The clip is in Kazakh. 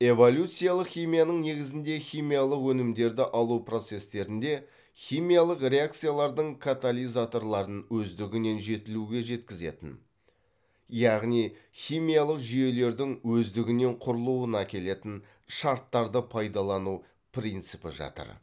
эволюциялық химияның негізінде химиялық өнімдерді алу процестерінде химиялық реакциялардың катализаторларын өздігінен жетілуге жеткізетін яғни химиялық жүйелердің өздігінен құрылуына әкелетін шарттарды пайдалану принципі жатыр